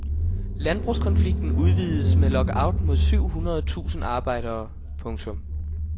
Landbrugskonflikten udvides med lockout mod syv hundrede tusinde arbejdere. punktum